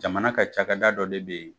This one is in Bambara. Jamana ka cakɛda dɔ de bɛ yen.